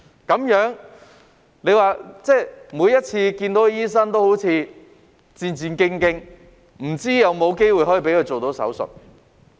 這樣，他們每次見醫生都彷彿戰戰兢兢，不知有否機會讓他們做手術。